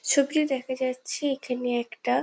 ছবিতে দেখা যাচ্ছে এইখানে একটা --